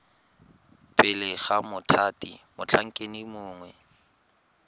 pele ga mothati motlhankedi mongwe